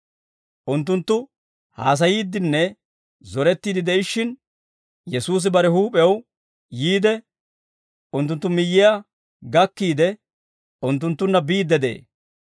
Unttunttu haasayiiddinne zorettiidde de'ishshin, Yesuusi bare huup'ew yiide unttunttu miyyiyaa shiik'iide unttunttunna biidde de'ee.